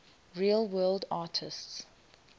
real world artists